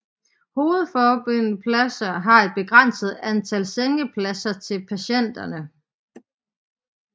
Hovedforbindepladser har et begrænset antal sengepladser til patienter